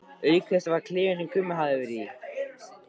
Auk þess var þetta klefinn sem Gummi hafði verið í.